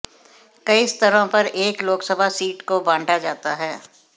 कई स्तरों पर एक लोकसभा सीट को बांटा जाता है